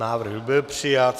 Návrh byl přijat.